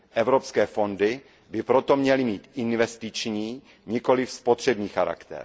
Evropské fondy by proto měly mít investiční, nikoliv spotřební povahu.